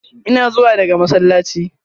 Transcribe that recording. Ina zuwa daga masallaci.